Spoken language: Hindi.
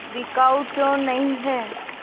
बिकाऊ क्यों नहीं है